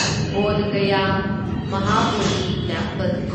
Bodh Gaya Mahabodhi temple